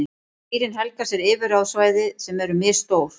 Dýrin helga sér yfirráðasvæði sem eru misstór.